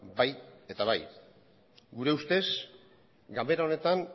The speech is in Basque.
bai eta bai gure ustez ganbera honetan